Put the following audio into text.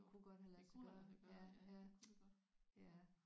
Det kunne godt have ladt sig gøre ja ja ja